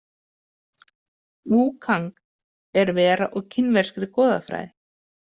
Vu Kang er vera úr kínverskri goðafræði.